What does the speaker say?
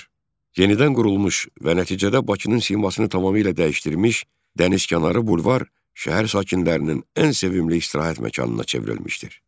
Yenidən qurulmuş və nəticədə Bakının simasını tamamilə dəyişdirmiş dənizkənarı bulvar şəhər sakinlərinin ən sevimli istirahət məkanına çevrilmişdir.